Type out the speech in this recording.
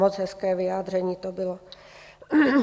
Moc hezké vyjádření to bylo.